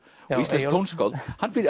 og íslenskt tónskáld hann býr í